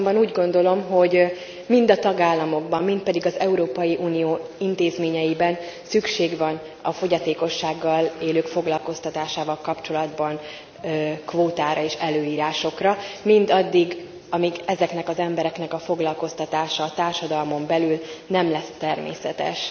Azonban úgy gondolom, hogy mind a tagállamokban, mind pedig az Európai Unió intézményeiben szükség van a fogyatékossággal élők foglalkoztatásával kapcsolatban kvótára és előírásokra mindaddig, amíg ezeknek az embereknek a foglalkoztatása társadalmon belül nem lesz természetes.